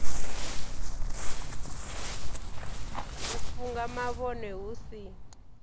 u funga mavhone hu si